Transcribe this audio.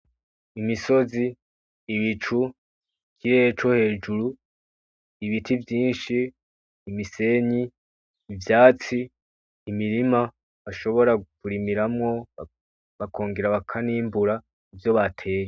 Imisozi, Ibicu, ikirerere co hejuru, ibiti vyinshi, imisenyi, ivyatsi, imirima bashobora kurimiramwo, bakongera bakanimbura ivyo bateye.